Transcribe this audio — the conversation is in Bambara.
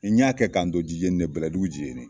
Ni y'a kɛ k'an to jijeni de bɛlɛdugu jijeni